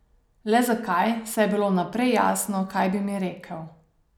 Le zakaj, saj je bilo vnaprej jasno, kaj bi mi rekel.